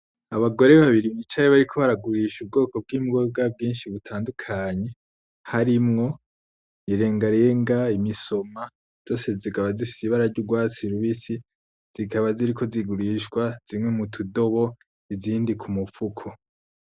Abagore babiri bicaye bariko baragurisha ubwoko bwimboga bwinshi butandukanye harimwo irengarenga, imisoma zose zikaba zifise ibara ryurwatsi rubisi, zikaba ziriko zigurishwa zimwe mutu dobo izindi kumu fuko.